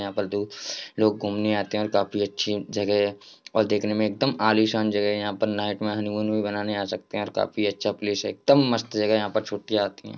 यहाँ पर लोग घूमने आते हैं और काफी अच्छी जगह है और देखने में एकदम आलीशान जगह है| यहाँ पर नाइट में हनीमून भी मनाने आ सकते हैं और काफी अच्छा प्लेस है एकदम मस्त जगह है यहाँ पर छुट्टियाँ होती हैं।